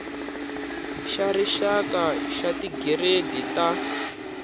xa rixaka xa tigiredi ta